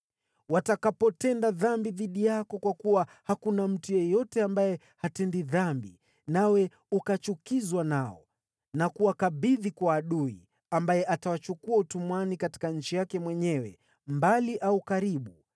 “Watakapotenda dhambi dhidi yako, kwa kuwa hakuna mtu yeyote ambaye hatendi dhambi, nawe ukachukizwa nao na kuwakabidhi kwa adui, ambaye atawachukua utumwani katika nchi yake mwenyewe, mbali au karibu;